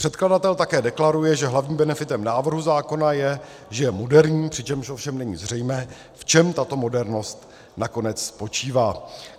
Předkladatel také deklaruje, že hlavním benefitem návrhu zákona je, že je moderní, přičemž ovšem není zřejmé, v čem tato modernost nakonec spočívá.